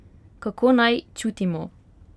Kako naj čutimo?